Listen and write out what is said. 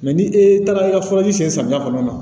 ni e taara i ka furaji sen samiya kɔnɔ